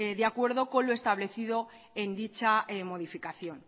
de acuerdo con lo establecido en dicha modificación